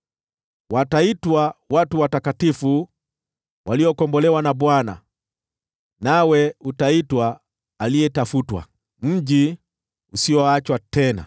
Wataitwa Watu Watakatifu, Waliokombolewa na Bwana ; nawe utaitwa Aliyetafutwa, Mji Usioachwa Tena.